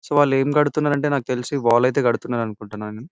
So వాళ్ళు ఏం కడుతున్నారంటే నాకు తెలిసి వాల్ అయితే కడుతున్నారు అనుకుంటున్నాను.